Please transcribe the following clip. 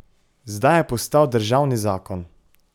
Zdaj je postal državni zakon.